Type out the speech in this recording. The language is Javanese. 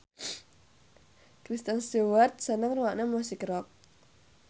Kristen Stewart seneng ngrungokne musik rock